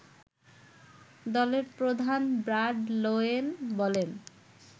দলের প্রধান Brad Lowen বলেন